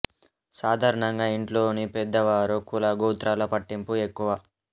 సాధారణంగా ఇంట్లోని పెద్ద వారు కుల గోత్రాల పట్టింపు ఎక్కువ